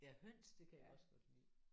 Ja høns? Det kan jeg også godt lide